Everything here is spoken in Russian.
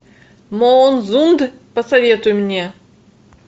моонзунд посоветуй мне